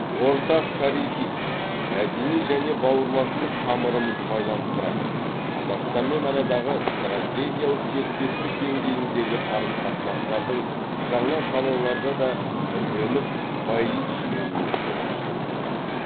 ортақ тарихи мәдени және бауырластық тамырымыз байланыстыратын қазақстанмен арадағы стратегиялық серіктестік деңгейіндегі қарым қатынастардың жаңа салаларда да түрленіп байи түскеніне қуаныштымыз